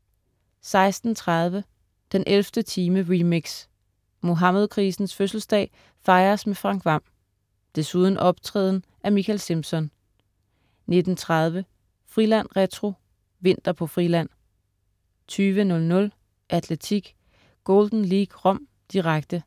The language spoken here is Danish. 16.30 den 11. time, remix. Muhammedkrisens fødselsdag fejres med Frank Hvam. Desuden optræden af Mikael Simpson 19.30 Friland retro: Vinter på Friland 20.00 Atletik: Golden League Rom, direkte.